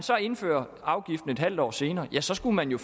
indføre afgiften et halvt år senere så skulle man jo